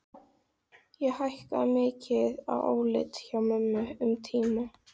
Ég hækkaði mikið í áliti hjá mömmu. um tíma.